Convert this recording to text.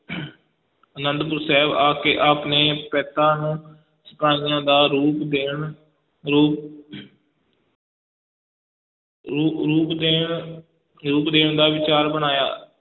ਆਨੰਦਪੁਰ ਸਾਹਿਬ ਆ ਕੇ ਆਪ ਨੇ ਪੈਂਤਾਂ ਨੂੰ ਸਿਪਾਹੀਆਂ ਦਾ ਰੂਪ ਦੇਣ ਰੂਪ ਰੂ~ ਰੂਪ ਦੇਣ, ਰੂਪ ਦੇਣ ਦਾ ਵਿਚਾਰ ਬਣਾਇਆ।